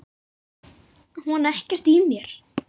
Á hann ekkert í mér?